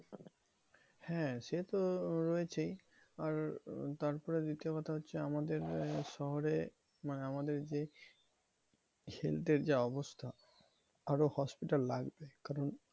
হ্যাঁ সেতো রয়েছেই, আর তারপরে দ্বিতীয় কথা হচ্ছে, আমাদের শহরে মানে আমাদের যে health এর যা অবস্থা আরো hospital লাগবে। কারণ